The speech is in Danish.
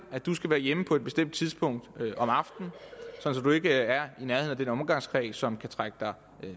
at du skal være hjemme på et bestemt tidspunkt om aftenen sådan at du ikke er i nærheden af den omgangskreds som kan trække dig